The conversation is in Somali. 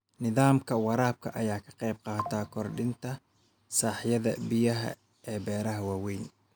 Nidaamka waraabka ayaa ka qaybqaata kordhinta sahayda biyaha ee beeraha waaweyn.